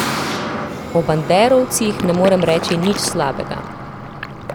O banderovcih ne morem reči nič slabega.